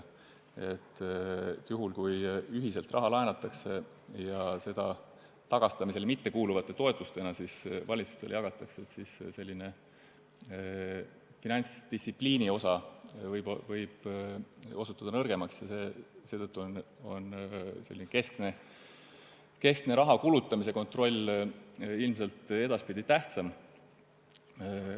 Juhul, kui raha laenatakse ühiselt ja seda tagastamisele mittekuuluvate toetustena valitsustele jagatakse, võib finantsdistsipliin osutuda nõrgemaks ja seetõttu on keskne raha kulutamise kontroll edaspidi ilmselt tähtsam.